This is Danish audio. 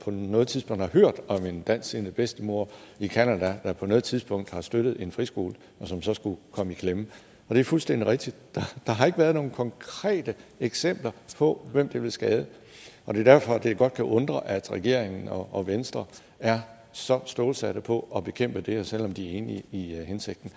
noget tidspunkt har hørt om en dansksindet bedstemor i canada der på noget tidspunkt har støttet en friskole og som så skulle komme i klemme og det er fuldstændig rigtigt der har ikke været nogle konkrete eksempler på hvem det vil skade det er derfor det godt kan undre at regeringen og venstre er så stålsatte på at bekæmpe det her selv om de er enige i hensigten